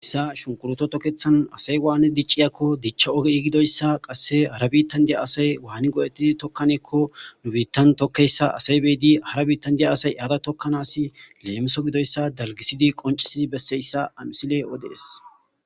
issa shunkuroto tokkethan asay waane dicciyakko dichcha ogei gidoyssa qasse hara biittan diya asay waani go'ettidi tokkaneekko nu biittan tokkeyssa asay beedi hara biittan diya asay aada tokkanaasi leemiso gidoyssa dalgisidi qoncisii besseyssa amisile odees